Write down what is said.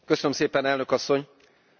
Tisztelt képviselőtársak!